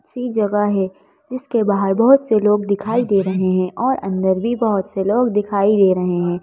ऐसी जगह है जिसके बाहर बहुत से लोग दिखाई दे रहे हैं और अंदर भी बहुत से लोग दिखाई दे रहे हैं।